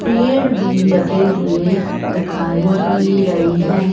पेड़ भी लगे हुए दिखाई दे रहे हैं।